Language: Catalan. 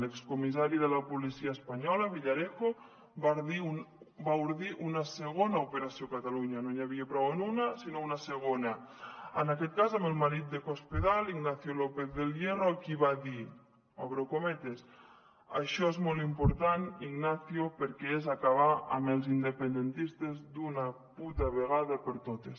l’excomissari de la policia espanyola villarejo va ordir una segona operació catalunya no n’hi havia prou amb una sinó una segona en aquest cas amb el marit de cospedal ignacio lópez del hierro a qui va dir obro cometes això és molt important ignacio perquè és acabar amb els independentistes d’una puta vegada per totes